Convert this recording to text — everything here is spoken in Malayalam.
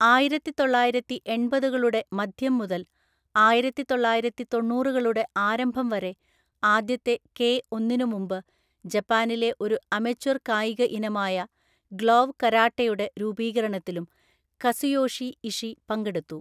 ആയിരത്തിതൊള്ളായിരത്തിഎണ്‍പതുകളുടെ മധ്യം മുതൽ ആയിരത്തിതൊള്ളായിരത്തിതൊണ്ണൂറുകളുടെ ആരംഭം വരെ, ആദ്യത്തെ കെ ഒന്നിനു മുമ്പ്, ജപ്പാനിലെ ഒരു അമച്വർ കായിക ഇനമായ ഗ്ലോവ് കരാട്ടെയുടെ രൂപീകരണത്തിലും കസുയോഷി ഇഷി പങ്കെടുത്തു.